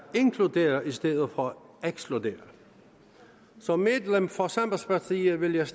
inkluderer i stedet for at ekskludere som medlem for sambandspartiet vil jeg